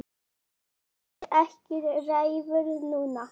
En Einar er ekki reiður núna.